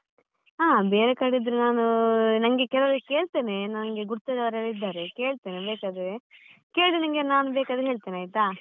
ಹಾ, ಬೇರೆ ಕಡೆ ಇದ್ರೆ ನಾನು ನಂಗೆ ಕೆಲವ್ರಿಗೆ ಕೇಳ್ತೇನೆ ನಂಗೆ ಗುರ್ತದವರೆಲ್ಲ ಇದ್ದಾರೆ, ಕೇಳ್ತೇನೆ ಬೇಕಾದ್ರೆ, ಕೇಳಿ ನಿನ್ಗೆ ನಾನು ಬೇಕಾದ್ರೆ ಹೇಳ್ತೇನೆ ಆಯ್ತಾ.